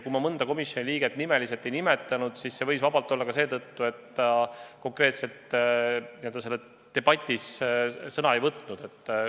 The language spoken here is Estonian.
Kui ma mõnda komisjoni liiget nimeliselt ei nimetanud, siis see võis olla ka seetõttu, et ta konkreetselt selles debatis sõna ei võtnud.